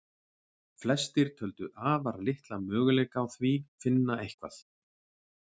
Flestir töldu afar litla möguleika á því finna eitthvað.